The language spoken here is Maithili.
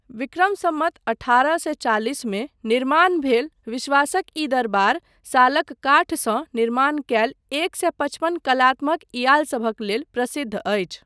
विक्रम सम्वत अठारह सए चालिस मे निर्माण भेल विश्वासक ई दरबार सालक काठसँ निर्माण कयल एक सए पचपन कलात्मक झ्यालसभक लेल प्रसिद्ध अछि।